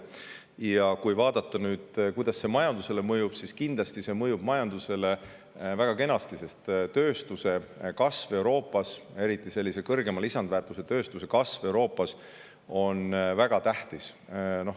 Ja kui vaadata nüüd, kuidas see majandusele mõjub, siis kindlasti see mõjub majandusele väga kenasti, Euroopas on eriti kõrgema lisandväärtuse tööstuse kasv väga tähtis.